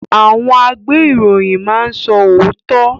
Àwọn agbeiroyin máa n so ootọ.